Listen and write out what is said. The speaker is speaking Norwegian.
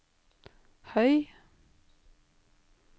høy